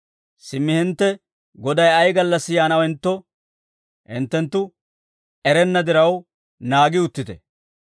«Simmi hintte Goday ay gallassi yaanawentto hinttenttu erenna diraw, naagi uttite.